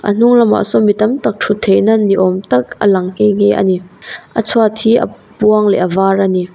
a hnung lamah saw mi tam tak thut theihna ni awm tak a lang nghe nghe a ni a chhuat hi a buang leh a var a ni.